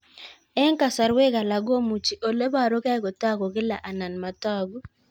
Eng' kasarwek alak komuchi ole parukei kotag'u kila anan matag'u